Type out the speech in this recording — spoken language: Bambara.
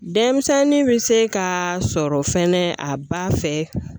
Denmisɛnnin bɛ se ka sɔrɔ fɛnɛ a ba fɛ